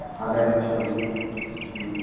Aadhar এর ছবি হুম.